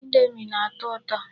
Indomi na-atọ ụtọ.